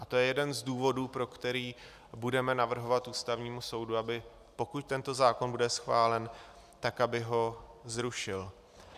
A to je jeden z důvodů, pro který budeme navrhovat Ústavnímu soudu, aby pokud tento zákon bude schválen, tak aby ho zrušil.